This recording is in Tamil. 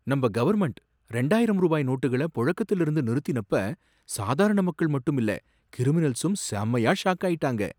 நம்ப கவர்மென்ட் ரெண்டாயிரம் ரூபாய் நோட்டுகள பொழக்கத்திலிருந்து நிறுத்தினப்ப, சாதாரண மக்கள் மட்டும் இல்ல கிரிமினல்சும் செமையா ஷாக் ஆயிட்டாங்க.